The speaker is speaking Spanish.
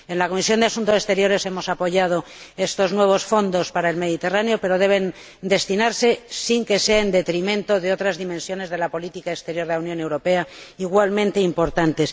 En la Comisión de Asuntos Exteriores hemos apoyado estos nuevos fondos para el Mediterráneo, pero deben asignarse sin que sea en detrimento de otras dimensiones de la política exterior de la Unión Europea, igualmente importantes.